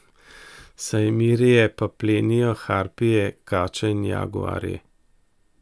Sajmirije pa plenijo harpije, kače in jaguarji.